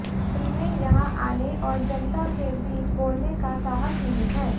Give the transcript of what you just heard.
उनमें यहां आने और जनता के बीच बोलने का साहस नहीं है